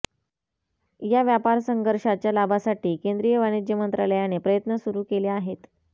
या व्यापारसंघर्षाच्या लाभासाठी केंद्रीय वाणिज्य मंत्रालयाने प्रयत्न सुरू केले आहेत